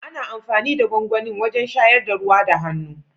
Ana amfani da gwangwani wajen shayar da ruwa da hannu.